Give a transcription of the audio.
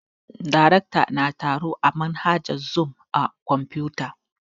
Darekta na taro ta manhajar zoom a kwamfuta